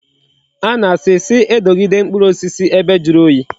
A na-asi si edogide mkpuru osisi ebe juru oyi